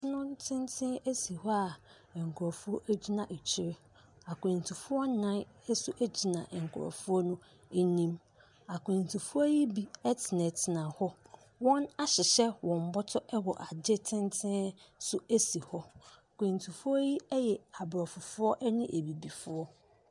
Nnɔn tenten si hɔ a nkurɔfoɔ gyina akyire. Akwantufoɔ nnan nso gyina nkurɔfoɔ no anim. Akwantufoɔ yi bi tenatena hɔ. Wɔahyehɛ wɔn bɔtɔ wɔ ade tenten so si hɔ. Akwantufoɔ yi yɛ aborɔfofoɔ ne abibifoɔ.